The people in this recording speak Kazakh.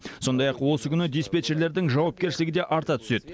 сондай ақ осы күні диспетчерлердің жауапкершілігі де арта түседі